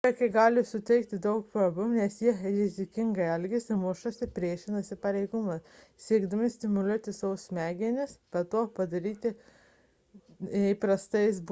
šie vaikai gali sukelti daug problemų nes jie rizikingai elgiasi mušasi ir priešinasi pareigūnams siekdami stimuliuoti savo smegenis nes to padaryti nepavyksta įprastais būdais